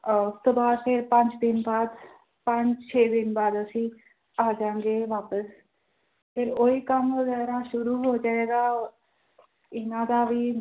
ਪੰਜ ਦਿਨ ਬਾਅਦ ਪੰਜ ਛੇ ਦਿਨ ਬਾਅਦ ਅਸੀਂ ਆ ਜਾਵਾਂਗੇ ਵਾਪਸ ਫਿਰ ਉਹੀ ਕੰਮ ਵਗ਼ੈਰਾ ਸ਼ੁਰੂ ਹੋ ਜਾਏਗਾ ਇਹਨਾਂ ਦਾ ਵੀ